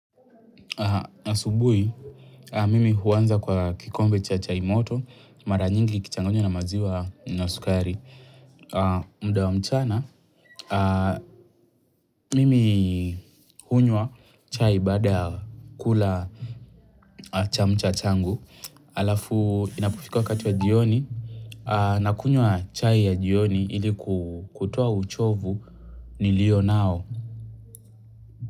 Asubuhi, mimi huanza kwa kikombe cha chai moto. Mara nyingi ikichangwa na maziwa na sukari. Muda wa mchana, mimi hunywa chai baada kula chamcha changu. Alafu, inapofika wakati wa jioni, nakunywa chai ya jioni ili kutoa uchovu niliyo nao.